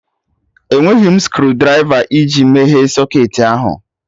Enweghị m screwdrịva iji meghee socketị ahụ